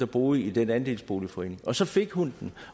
boede i den andelsboligforening og så fik hun